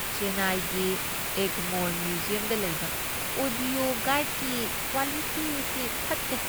ꯆꯦꯟꯅꯥꯏꯒꯤ ꯑꯦꯒꯃꯣꯔ ꯃ꯭ꯌꯨꯖꯤꯌꯝꯗ ꯂꯩꯕ ꯑꯣꯗꯤꯑꯣ ꯒꯥꯏꯗꯀꯤ ꯀ꯭ꯋꯥꯂꯤꯇꯤ ꯑꯁꯤ ꯐꯠꯇꯦ꯫